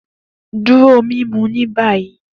Duro mimu ni bayi!